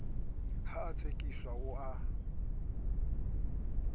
ha a tsekiswe o a